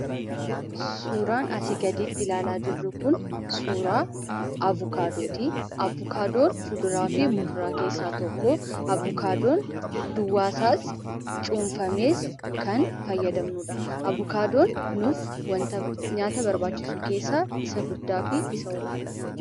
Suuraan asii gaditti ilalaa jirru kun suuraa avukaadootii. Avukaadoon fuduraafi muduraa keessaa tokkoo avucaadoon duwwaasaas cuunfamees kan fayyadamnudha. Avukaadoon nuuf wanta nu barbaachisu keessaa isa guddaafi isa ol aanaadha.